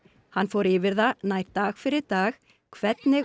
hann fór yfir það nær dag fyrir dag hvernig